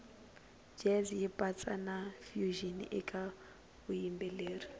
jazz yipatsa nafusion ekavuyimbeleri